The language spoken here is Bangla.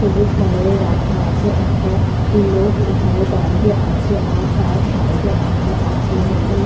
সবুজ কালারের রাখা আছে একটা লোক এখানে দাঁড়িয়ে আছে আর তার সাইডে একটা তাজমহলে--